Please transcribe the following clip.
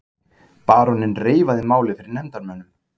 Baróninn reifaði málið fyrir nefndarmönnum.